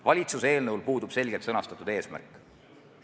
Valitsuse eelnõul puudub selgelt sõnastatud eesmärk.